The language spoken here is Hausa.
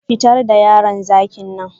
Fitar da yaron zakin nan